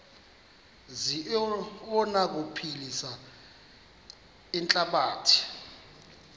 zi anokuphilisa ihlabathi